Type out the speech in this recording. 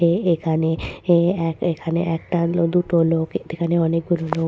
এই এখানে এই এক এখানে একটা দুটো লোক এখানে অনেকগুলো লোক।